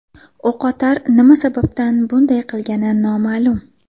O‘qotar nima sababdan bunday qilgani noma’lum.